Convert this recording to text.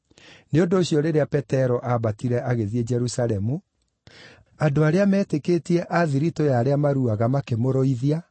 Nĩ ũndũ ũcio rĩrĩa Petero aambatire agĩthiĩ Jerusalemu, andũ arĩa meetĩkĩtie a thiritũ ya arĩa maruaga makĩmũrũithia